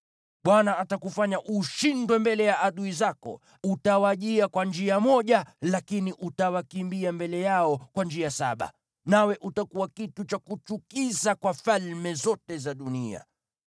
Bwana atakufanya ushindwe mbele ya adui zako. Utawajia kwa njia moja lakini utawakimbia mbele yao kwa njia saba, nawe utakuwa kitu cha kuchukiza kwa falme zote za dunia.